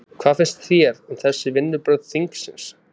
Hvað finnst þér um þessi vinnubrögð þingsins?